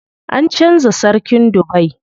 An canza sarkin Dubai.